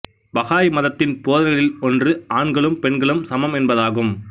Baha'i மதத்தின் போதனைகளில் ஒன்று ஆண்களும் பெண்களும் சமம் என்பதாகும்